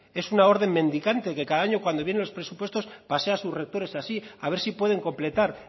es una orden mendicante que cada año cuando vienen los presupuestos pasea a sus rectores así a ver si pueden completar